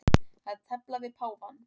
Að tefla við páfann